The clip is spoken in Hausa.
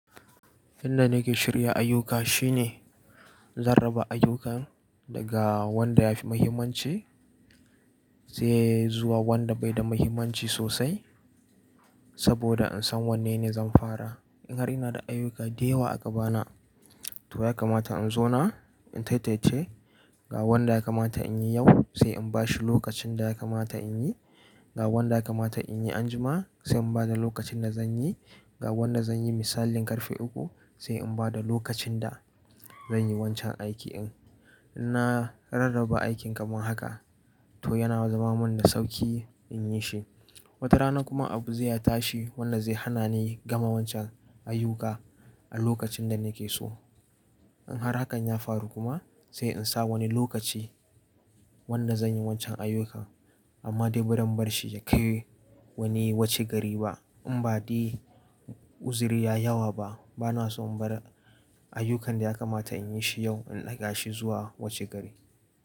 Inda nake shirya ayyuka shine, zan raba ayyukan daga wanda yafi muhimmanci sai zuwa wanda bai da muhimmanci sosai. Saboda in san wanne ne zan fara. In har ina da ayyuka da yawa a gaba na, to ya kamata in zauna in tantance ga wanda ya kamata in yi yau sai in bashi lokacin da ya kamata in yi. Ga wanda ya kamata in yi anjima sai in bada lokacin da zan yi. Ga wanda zan yi misalin karfe uku sai in bada lokacin da zan yi wancan aikin. In na rarraba aikin kamar haka to yana zama mun da sauki in yi shi. Wata rana kuma abu zai tashi wanda zai hana ni gama wancan ayuka a lokacin da nake so. In har hakan ya faru kuma sai in sa wani lokaci wanda zan yi wancan ayyukan amma dai bazan bar shi ya kai wani washe gari ba. In ba dai uzuri ya yi yawa ba bana so in bar ayyukan da ya kamata in yi shi yau in ɗaga shi zuwa wuce gari.